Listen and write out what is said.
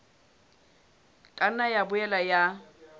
ka nna ya boela ya